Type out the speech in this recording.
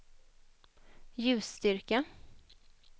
ljusstyrka